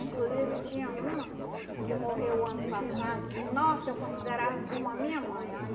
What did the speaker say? Inclusive, tinha uma que morreu o ano passado, que, nossa, eu considerava como a minha mãe, olha.